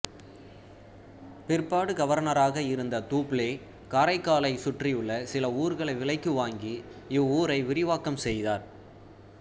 பிற்பாடு கவர்னராக இருந்த தூப்ளே காரைக்காலைச் சுற்றியுள்ள சில ஊர்களை விலைக்கு வாங்கி இவ்வூரை விரிவாக்கம் செய்தார்